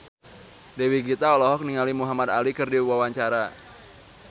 Dewi Gita olohok ningali Muhamad Ali keur diwawancara